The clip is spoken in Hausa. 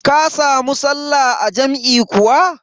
Ka samu sallah a jam'i kuwa?